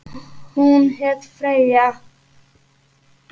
Hún hét Freyja.